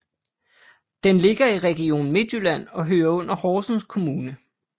Den ligger i Region Midtjylland og hører under Horsens Kommune